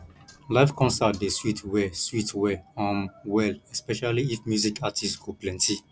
live concert dey sweet well sweet well um well especially if music artist go plenty